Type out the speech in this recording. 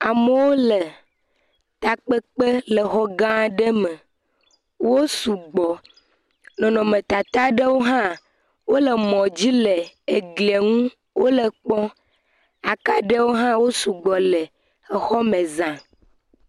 Amewo le takpekpe le ɔɔ gã ɖe me, wosu gbɔ nɔnɔmetata aɖewo hã wole mɔ dzi le eglie ŋu wole ekpɔm, akaɖewo hã wosu gbɔ le xɔ me za.